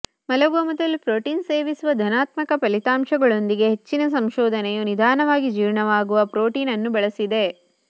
ಮಲಗುವ ಮೊದಲು ಪ್ರೋಟೀನ್ ಸೇವಿಸುವ ಧನಾತ್ಮಕ ಫಲಿತಾಂಶಗಳೊಂದಿಗೆ ಹೆಚ್ಚಿನ ಸಂಶೋಧನೆಯು ನಿಧಾನವಾಗಿ ಜೀರ್ಣವಾಗುವ ಪ್ರೋಟೀನ್ ಅನ್ನು ಬಳಸಿದೆ